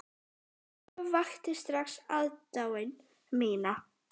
Ólöf vakti strax aðdáun mína.